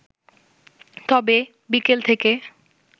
তবে, বিকেল থেকে